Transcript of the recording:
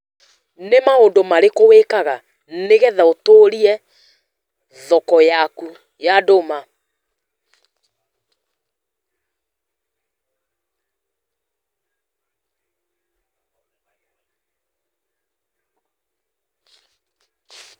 Read question only